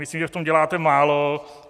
Myslím, že v tom děláte málo.